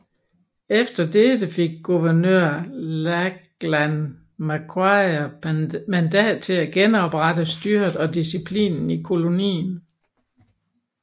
Efter dette fik guvernør Lachlan Macquarie mandat til at genoprette styret og disciplinen i kolonien